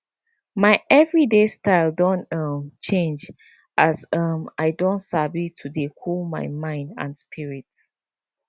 my everyday style don um change as um i don sabi to dey cool my mind and spirit